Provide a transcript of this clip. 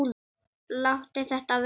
Láttu þetta vera!